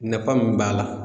Nafa min b'a la